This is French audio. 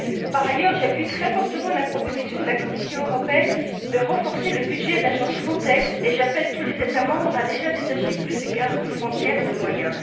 Par ailleurs, j'appuie très fortement la proposition de la Commission européenne de renforcer le budget de l'agence Frontex et j'appelle tous les États membres, à détacher, d'ores et déjà, plus de gardes frontières et de moyens.